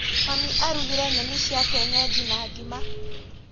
Mami arugire nyeni cia kienyeji na ngima.